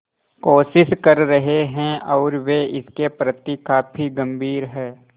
कोशिश कर रहे हैं और वे इसके प्रति काफी गंभीर हैं